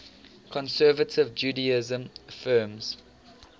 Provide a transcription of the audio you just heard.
conservative judaism affirms